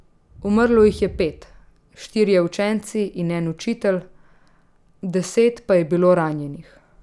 Umrlo jih je pet, štirje učenci in en učitelj, deset pa je bilo ranjenih.